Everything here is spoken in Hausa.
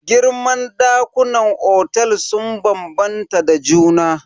Girman ɗakunan otel sun bambanta da juna.